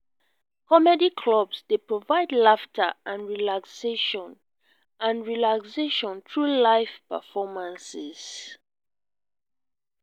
comedy clubs dey provide laughter and relaxation and relaxation through live performances.